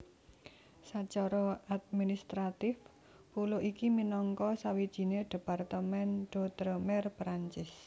Sacara administratif pulo iki minangka sawijiné département d outre mer Perancis